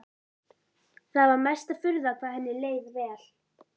Það var mesta furða hvað henni leið vel.